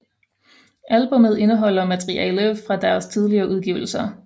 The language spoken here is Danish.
Albummet indeholder materiale fra deres tidligere udgivelser